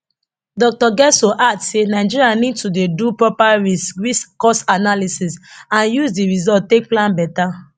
dr getso add say nigeria need to dey do proper risk risk cost analysis and use di results take plan beta